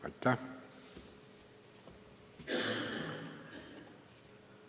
Aitäh!